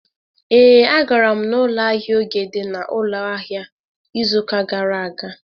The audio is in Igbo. Ee, agara m n'ụlọ ahịa Oge dị n'ụlọ ahịa izu ụka gara aga.